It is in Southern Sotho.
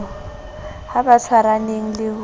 ha ba tshwaraneng le ho